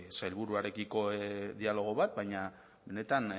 sailburuarekiko dialogo bat baina benetan